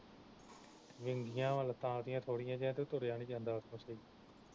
ਵਿੰਗੀਆਂ ਵਾ ਲੱਤਾਂ ਉਹਦੀਆਂ ਥੋੜੀਆਂ ਜਿਹੀਆਂ ਤੇ ਤੁਰਿਆ ਨੀ ਜਾਂਦਾ ਸਹੀ